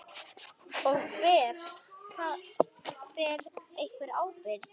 Og: Ber einhver ábyrgð?